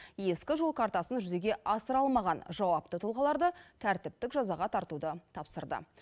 ескі жол картасын жүзеге асыра алмаған жауапты тұлғаларды тәртіптік жазаға тартуды тапсырды